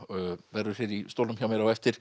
verður hér í stólnum hjá mér á eftir